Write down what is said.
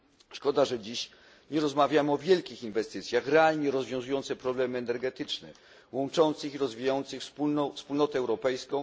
Szkoda, że dziś nie rozmawiamy o wielkich inwestycjach, realnie rozwiązujących problemy energetyczne, łączących i rozwijających Wspólnotę Europejską